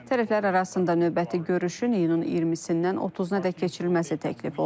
Tərəflər arasında növbəti görüşün iyunun 20-dən 30-nadək keçirilməsi təklif olunub.